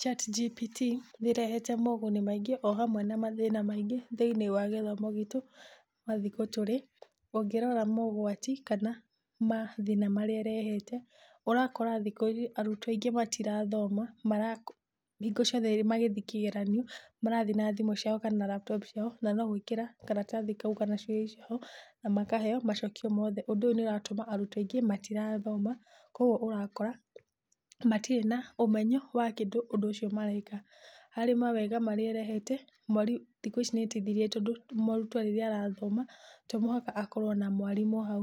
ChatGPT nĩrehete moguni maingĩ ohamwe na mathina maingĩ thĩiniĩ wa gĩthomo gitu ma thĩkũ tũrĩ, ũngĩrora mogwati kana mathina marĩa ĩrehete ũrakora thikũ ici arũtwo aingĩ matirathoma marako hingo ciothe magĩthiĩ kĩgeranio, marathiĩ na thimũ ciao kana laptop ciao na nogwikĩra karatathi kau kana ciũria hau na makaheo macokio mothe, ũndũ ũyũ nĩuratuma arũtwo aingĩ matirathoma kogũo ũrakora matirĩ na ũmenyo wa kĩndũ, ũndũ ũcio mareka. Harĩ mawega marĩa ĩrehete thikũ ici nĩteithĩrĩirie tondũ mũrũtwo rĩrĩa arathoma tomũhaka akorwo na mwarimũ hau